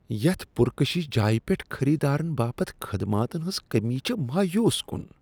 یتھ پر کشش جایِہ پٮ۪ٹھ خریدارن باپت خدماتن ہنزکٔمی چھ مایوس کن۔